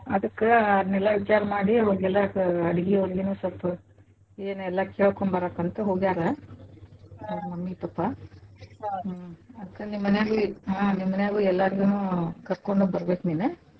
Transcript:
ಅದ್ಕ ಅದ್ನೆಲ್ಲಾ ವಿಚಾರ್ಮಾಡಿ ಅವರಿಗೆಲ್ಲ ಅಡ್ಗಿಯವ್ರಿಗನು ಸ್ವಲ್ಪ ಏನ್ ಎಲ್ಲಾ ಕೇಳ್ಕೋಂಬರಾಕಂತ ಹೋಗ್ಯಾರ ಅವ್ರ mummy pappa ಅದ್ಕ ನಿಮ್ ಮನೇಲಿ ಹ್ಞ ನಿಮ್ಮನ್ಯಾಗೂ ಎಲ್ಲರ್ಗೂನು ಕರ್ಕೊಂಡ ಬರ್ಬೇಕ್ ನೀನ್.